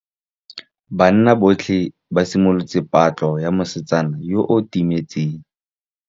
Banna botlhê ba simolotse patlô ya mosetsana yo o timetseng.